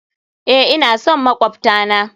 Eh, ina son makwabta na.